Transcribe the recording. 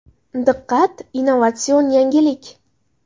Diqqat innovatsion yangilik!!!